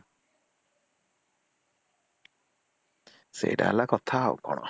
ସେଟା ହେଲା କଥା ଆଉ କଣ